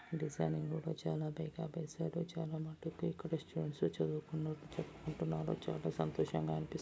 Designing చాల వేసాడు చాల మటుక్కి ఇక్కడ స్టూడెంట్స్ చదూ కుంటున్నారు చాల సంతోషంగ అనిపిస్తుంది.